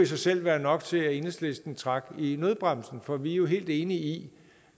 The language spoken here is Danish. sig selv være nok til at enhedslisten trak i nødbremsen for vi jo helt enige i